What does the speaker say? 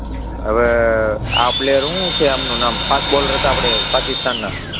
હવે, અમ આ પ્લેયર શું છે એમનું નામ? ફાસ્ટ બોલર હતા આપણે પાકિસ્તાનનાં,